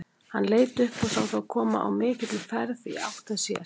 Hann leit upp og sá þá koma á mikilli ferð í átt að sér.